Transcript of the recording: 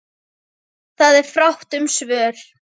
Það er fátt um svör.